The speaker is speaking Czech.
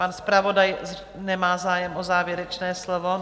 Pan zpravodaj nemá zájem o závěrečné slovo.